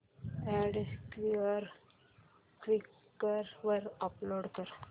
add Quikr वर upload कर